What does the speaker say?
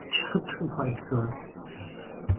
छत हो white colour का --